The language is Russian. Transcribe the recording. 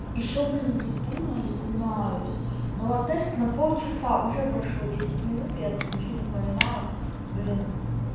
ещё блин это дура извиняюсь дала тест на полчаса уже прошло десять минут я ничего не понимаю блин